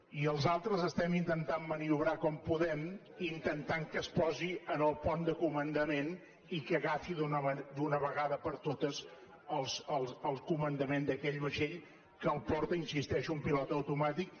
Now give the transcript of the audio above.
i els altres estem intentant maniobrar com podem intentant que es posi en el pont de comandament i que agafi d’una vegada per totes el comandament d’aquell vaixell que el porta hi insisteixo amb pilot automàtic